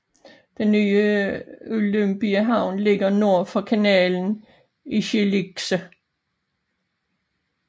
Den nye Olympiahavn ligger nord fra kanalen i Schilksee